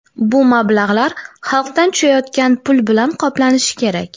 Bu mablag‘lar xalqdan tushayotgan pul bilan qoplanishi kerak.